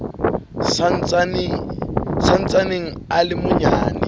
sa ntsaneng a le manyane